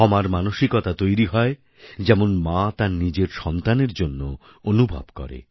ক্ষমার মানসিকতা তৈরি হয় যেমন মা তাঁর নিজের সন্তানের জন্য অনুভব করে